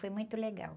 Foi muito legal.